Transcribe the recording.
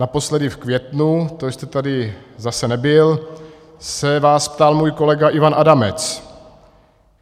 Naposledy v květnu, to jste tady zase nebyl, se vás ptal můj kolega Ivan Adamec.